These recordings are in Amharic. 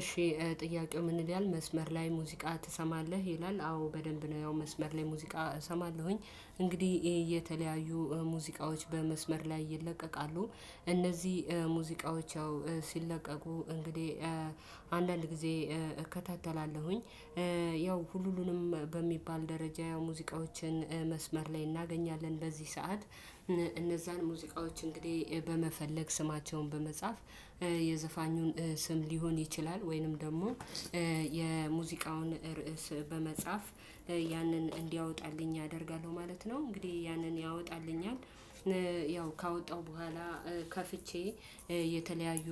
እሺ ጥያቄው ምን ይላል መስመር ላይ ሙዚቃ ትሰማለህ ይላል? አዎ በደንብ ነው ያው መስመር ላይ ሙዚቃ እሰማለሁኝ እንግዲህ የተለያዩ ሙዚቃዎች በመስመር ላይ ይለቀቃሉ። እነዚህ ሙዚቃዎች ያው ሲለቀቁ እንግዲህ አንዳንድ ጊዜ እከታተላለሁኝ። ያው ሁሉሉንም በሚባል ደረጃ ያው ሙዚቃዎችን መስመር ላይ እናገኛለን በዚህ ሰዓት። እነዛን ሙዚቃዎች እንግዲህ በመፈለግ ስማቸውን በመጻፍ የዘፋኙን ስም ሊሆን ይችላል ወይንም ደግሞ የሙዚቃውን ርዕስ በመጻፍ ያንን እንዲያወጣልኝ አደርጋለሁ ማለት ነው። እንግዲህ ያንን ያወጣልኛል። ያው ካወጣሁ በኋላ ከፍቼ የተለያዩ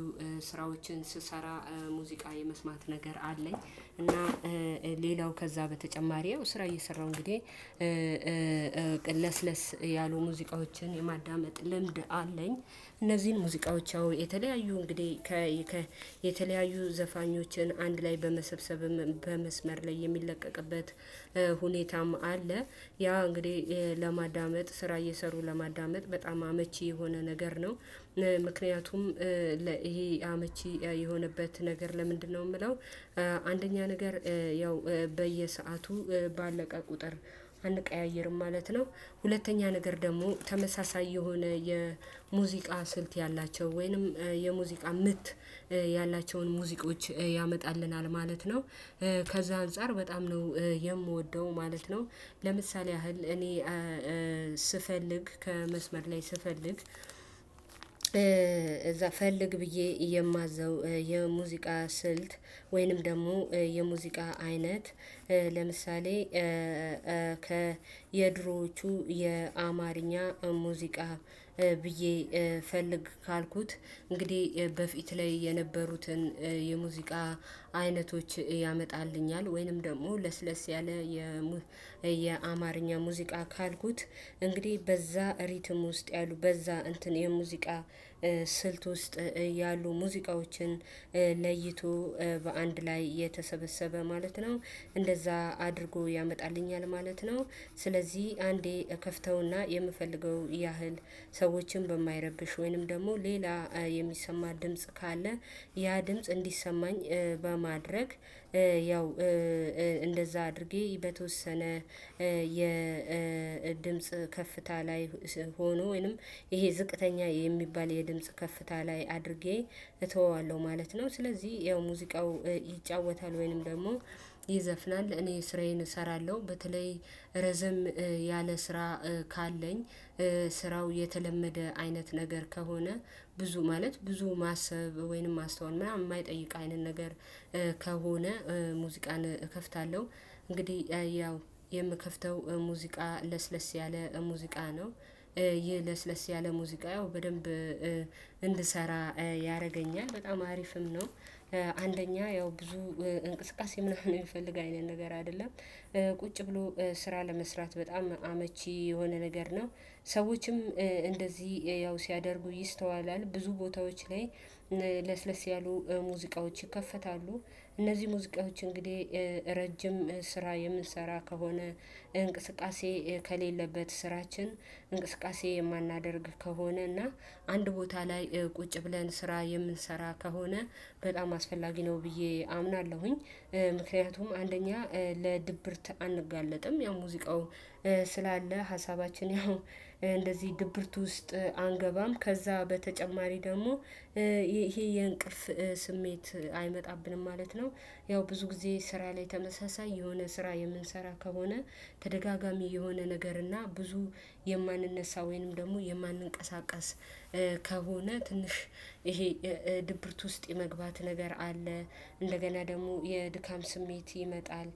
ስራዎችን ስሰራ ሙዚቃ የመስማት ነገር አለኝ። እና ሌላው ከዛ በተጨማሪ ያው ስራ እየሰራሁ እንግዲህ ለስለስ ያሉ ሙዚቃዎችን የማዳመጥ ልምድ አለኝ። እነዚህን ሙዚቃዎች ያው የተለያዩ እንግዲህ ከ የተለያዩ ዘፋኞችን አንድ ላይ በመሰብሰብም በመስመር ላይ የሚለቀቅበት ሁኔታም አለ። ያ እንግዲህ የ ለማዳመጥ ስራ እየሰሩ ለማዳመጥ በጣም አመቺ የሆነ ነገር ነው። ምክንያቱም ለ ይሄ አመቺ የሆነበት ነገር ለምንድነው የምለው? አንደኛ ነገር ያው በየሰአቱ ባለቀ ቁጥር አንቀያይርም ማለት ነው። ሁለተኛ ነገር ደግሞ ተመሳሳይ የሆነ የሙዚቃ ስልት ያላቸው ወይንም የሙዚቃ ምት ያላቸውን ሙዚቃዎች ያመጣልናል ማለት ነው። ከዛ አንፃር በጣም ነው የምወደው ማለት ነው። ለምሳሌ ያህል እኔ ስፈልግ ከመስመር ላይ ስፈልግ እዛ ፈልግ ብዬ የማዘው የሙዚቃ ስልት ወይንም ደግሞ የሙዚቃ አይነት። ለምሳሌ ከ የድሮዎቹ የአማርኛ ሙዚቃ ብዬ ፈልግ ካልኩት እንግዲህ በፊት ላይ የነበሩትን የሙዚቃ አይነቶች ያመጣልኛል። ወይንም ደግሞ ለስለስ ያለ የ ሙ የአማርኛ ሙዚቃ ካልኩት እንግዲህ በዛ ሪትም ውስጥ ያሉ በዛ እንትን የሙዚቃ ስ ስልት ውስጥ ያሉ ሙዚቃዎችን ለይቶ በአንድ ላይ የተሰበሰበ ማለት ነው። እንደዛ አድርጎ ያመጣልኛል ማለት ነው። ስለዚህ አንዴ እከፍተውና የምፈልገው ያህል ሰዎችን በማይረብሽ ወይንም ደግሞ ሌላ የሚሰማ ድምጽ ካለ ያ ድምጽ እንዲሰማኝ በማድረግ ያው እንደዛ አድርጌ በተወሰነ የድምጽ ከፍታ ላይ ሆኖ ወይንም ይሄ ዝቅተኛ የሚባል የድምጽ ከፍታ ላይ አድርጌ እተወዋለሁ ማለት ነው። ስለዚህ ያው ሙዚቃው ይጫወታል ወይንም ደግሞ ይዘፍናል እኔ ስራዬን እሰራለሁ። በተለይ ረዘም ያለ ስራ ካለኝ ስራው የተለመደ አይነት ነገር ከሆነ ብዙ ማለት ብዙ ማሰብ ወይንም ማስተዋል ምናምን የማይጠይቅ አይነት ነገር ከሆነ ሙዚቃን እከፍታለሁ። እንግዲህ ያው የምከፍተው ሙዚቃ ለስለስ ያለ ሙዚቃ ነው። ይህ ለስለስ ያለ ሙዚቃ ያው በደንብ እንድሰራ ያረገኛል በጣም አሪፍም ነው። አንደኛ ያው ብዙ እንቅስቃሴ ምናምን የሚፈልግ አይነት ነገር አይደለም። ቁጭ ብሎ ስራ ለመስራት በጣም አመቺ የሆነ ነገር ነው። ሰዎችም እንደዚህ ያው ሲያደርጉ ይስተዋላል ብዙ ቦታዎች ላይ ለስለስ ያሉ ሙዚቃዎች ይከፈታሉ። እነዚህ ሙዚቃዎች እንግዲህ ረጅም ስራ የምንሰራ ከሆነ እንቅስቃሴ ከሌለበት ስራችን እንቅስቃሴ የማናደርግ ከሆነ እና አንድ ቦታ ላይ ቁጭ ብለን ስራ የምንሰራ ከሆነ በጣም አስፈላጊ ነው ብዬ አምናለሁኝ። ምክንያቱም አንደኛ ለድብርት አንጋለጥም ያው ሙዚቃው ስላለ ሀሳባችን ያው እንደዚህ ድብርት ውስጥ አንገባም። ከዛ በተጨማሪ ደግሞ ይሄ የእንቅልፍ ስሜት አይመጣብንም ማለት ነው። ያው ብዙ ጊዜ ስራ ላይ ተመሳሳይ የሆነ ስራ የምንሰራ ከሆነ ተደጋጋሚ የሆነ ነገር እና ብዙ የማንነሳ ወይንም ደግሞ የማንንቀሳቀስ ከሆነ ትንሽ ይሄ ድብርት ውስጥ የመግባት ነገር አለ። እንደገና ደግሞ የድካም ስሜት ይመጣል።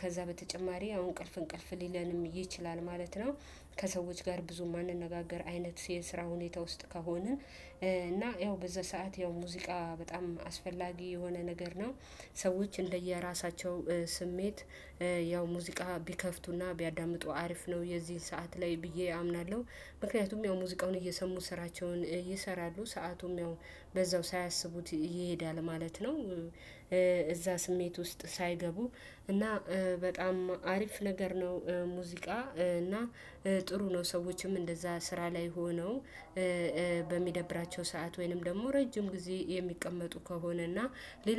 ከዛ በተጨማሪ ያው እንቅልፍ እንቅልፍ ሊለንም ይችላል ማለት ነው። ከሰዎች ጋር ብዙ የማንነጋገር አይነት የስራ ሁኔታ ውስጥ ከሆንን እና ያው በዛ ሰዓት ያው ሙዚቃ በጣም አስፈላጊ የሆነ ነገር ነው። ሰዎች እንደየራሳቸው ስሜት ያው ሙዚቃ ቢከፍቱና ቢያዳምጡ አሪፍ ነው የዚህን ሰዓት ላይ ብዬ አምናለሁ። ምክንያቱም ያው ሙዚቃውን እየሰሙ ስራቸውን ይሰራሉ ሰአቱም ያው በዛው ሳያስቡት ይሄዳል ማለት ነው። እዛ ስሜት ውስጥ ሳይገቡ እና በጣም አሪፍ ነገር ነው። ሙዚቃ እና ጥሩ ነው ሰዎችም እንደዛ ስራ ላይ ሆነው በሚደብራቸው ሰዓት ወይንም ደግሞ ረጅም ጊዜ የሚቀመጡ ከሆነና ሌሎ